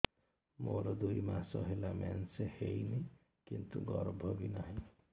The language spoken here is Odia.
ମୋର ଦୁଇ ମାସ ହେଲା ମେନ୍ସ ହେଇନି କିନ୍ତୁ ଗର୍ଭ ବି ନାହିଁ